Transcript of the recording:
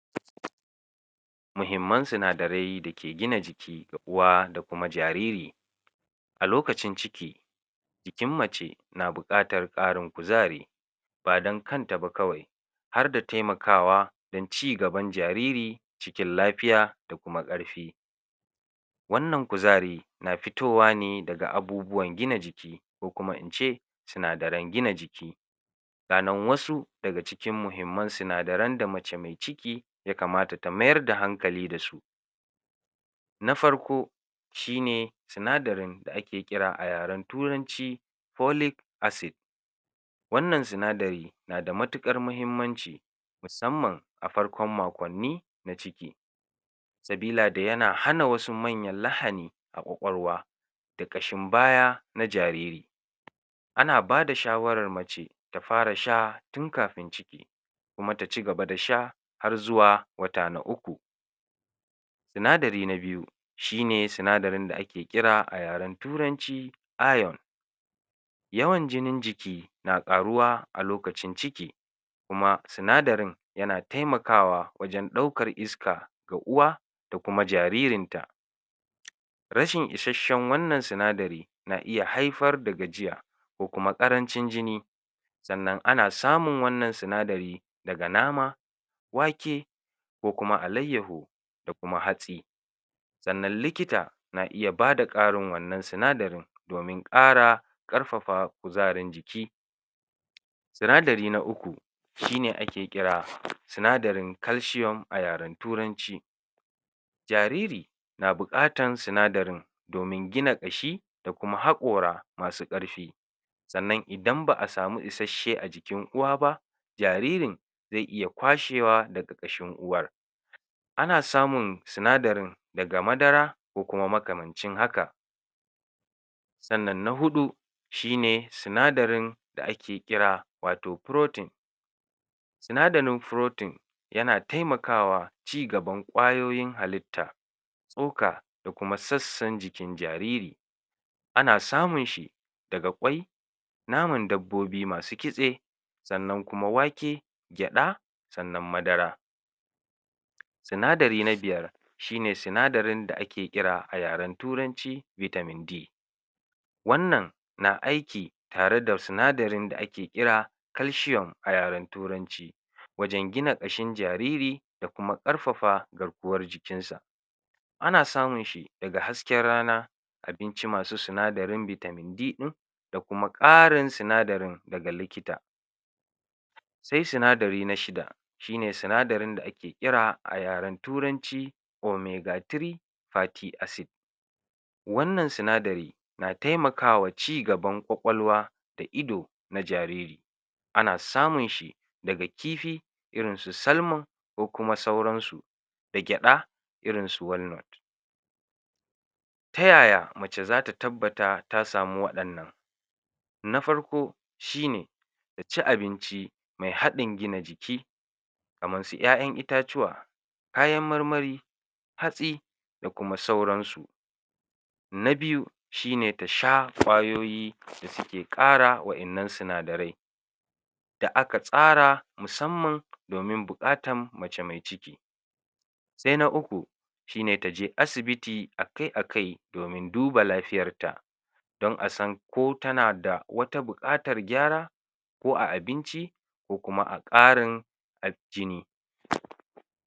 muhimman sinadarai dake gina jiki na uwa da kuma jarir a lokacin ciki jikin mace na buƙatar ƙarin kuzari badan kanta ba kawai harda taimakawa don ci gaban jarir cikin lafiya da kuma ƙarfi wannan kuzari na fitowa ne daga abubuwa gina jiki ko kuma ince sinadaran gina jiki ga nan wasu daga cikin muhimman sinadaran da mace me ciki ya kamata ta mayar da hankali dasu na farko shine sinadarin da ake ƙira a yaren turanci folic acid wannan sinadari nada matuƙar muhimmanci musammam a farko makonni na ciki sabilada yana hana wasu manyan lahani a ƙwaƙwalwa da ƙashin baya na jariri ana bada shawarar mace ta fara sha tun kafin ciki kuma taci gaba da sha har zuwa wata na uku sinadari na biyu shine sinadarin da ake ƙira a yaren turanci iron yawan jinin jiki na ƙaruwa a lokacin ciki kuma sinadarin yana taimakawa wajan ɗaukar iska ga uwa da kuma jaririn ta rashin ishashshan wannan sinadari na iya haifar da gajiya ko kuma ƙarancin jini sannan ana samun wannan sinadari daga nama wake ko kuma alayyahu da kuma hatsi sannan likita na iya bada ƙarin wannan sinadarin domin ƙara ƙarfafa kuzarin jiki sinadari na uku shine ake ƙira sinadarin calcium a yaren turanci jariri na buƙatan sinadarin domin gina jiki da kuma haƙora masu ƙarfi sannan idan ba'a samu ishashshe a jikin uwa ba jaririn ze iya kwashewa daga jikin uwar ana samun sinadarin daga madara ko kuma makamancin haka sannan na huɗu shine sinadarin da ake kira wato protein sinadarin protein yana taimakawa ci gaban ƙwayoyin halitta tsoka da kuma sassan jikin jariri ana samun shi daga ƙwai naman dabbobi masu kitse sannan kuma wake gyaɗa sannan madara sinadari na biyar shine sinadarin da ake kira a yaren turanci vitamin D wannan na aiki tare da sinadarin da ake kira calcium a yaren turanci wajan gina ƙashin jariri da kuma ƙarfafa garkuwar jikin sa ana samun shi daga hasken rana abinci masu sinadarin vitamin D ɗin da kuma ƙarin sinadarin daga likita se sinadari nashida shine sinadarin da ake ƙira a yaren turanci omega three party acid wannan sinadari na taimakawa ci gaban ƙwaƙwalwa da ido na jarir ana samun shi daga kifi irin su salmon ko kuma sauran su da gyaɗa irin su wannan ta yaya mace zata tabbata ta samu waƴannan na farko shine ta ci abinci me haɗin gina jiki kamar su ƴaƴan itacuwa kayan marmari hatsi da kuma sauran su na biyu shine tasha ƙwayoyi wanda suke ƙara waƴannan sinadarai da aka tsara musamman domin buƙatan mace me ciki se na uku shine taje asibiti akai akai domin a duba lafiyarta don asan ko tanada wata buƙatar gyara ko a abinci ko kuma a ƙarin jini